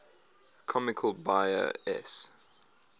comics buyer s